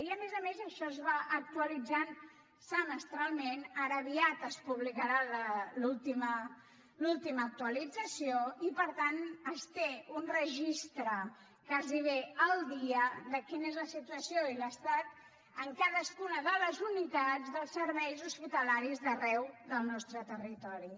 i a més a més això es va actualitzant semestralment ara aviat es publicarà l’última actualització i per tant es té un registre gairebé al dia de quina és la situació i l’estat en cadascuna de les unitats dels serveis hospitalaris d’arreu del nostre territori